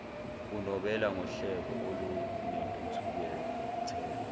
unobela ngohleko olunentukuthelo